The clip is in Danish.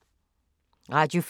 Radio 4